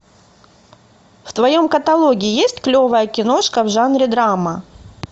в твоем каталоге есть клевая киношка в жанре драма